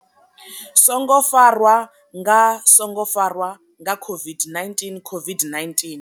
songo farwa nga songo farwa nga COVID-19, COVID-19.